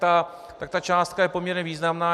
Ta částka je poměrně významná.